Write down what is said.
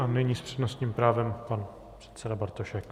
A nyní s přednostním právem pan předseda Bartošek.